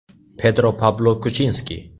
Pedro Pablo Kuchinski.